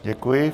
Děkuji.